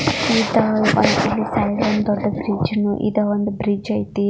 ಈತ ದೊಡ್ಡ ಒಂದು ಬ್ರಿಜ್ ಇದೆ ಒಂದು ಬ್ರಿಜ್ ಐತಿ.